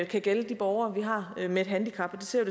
kan gælde de borgere vi har med et handicap og det ser